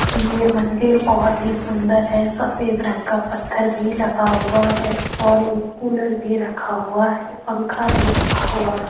ये मंदिर बहोत ही सुंदर है सफेद रंग का पत्थर भी लगा हुआ है और एक कूलर भी रखा हुआ है पंखा भी रखा हुआ है।